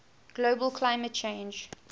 global climate change